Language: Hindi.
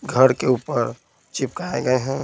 घर के ऊपर चिपकाए गए --